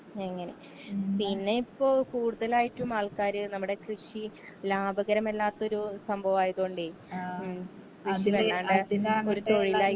അങ്ങനെ പിന്നെ ഇപ്പൊ കൂടുതലായിട്ടും ആൾക്കാര് നമ്മടെ കൃഷി ലാഭകരമല്ലാത്തൊരു സംഭവയതോണ്ടേ ഉം ഒരു തൊഴിലായിട്ട്.